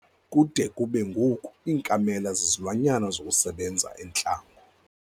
Kude kube ngoku iinkamela zizilwanyana zokusebenza entlango.